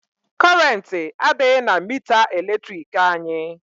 Kọrentị adịghị na mita eletrik anyị.